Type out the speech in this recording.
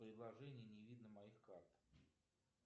в приложении не видно моих карт